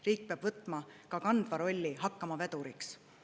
Riik peab võtma ka kandva rolli, hakkama veduriks.